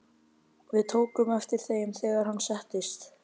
Við tókum eftir þeim, þegar hann settist.